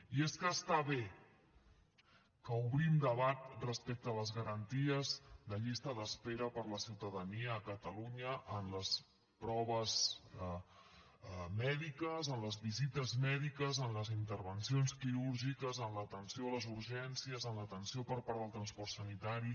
i és que està bé que obrim debat respecte a les garanties de llista d’espera per a la ciutadania a catalunya en les proves mèdiques en les visites mèdiques en les intervencions quirúrgiques en l’atenció a les urgències en l’atenció per part del transport sanitari